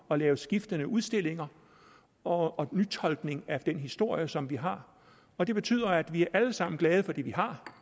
at lave skiftende udstillinger og nytolkning af den historie som vi har og det betyder at vi alle sammen er glade for det vi har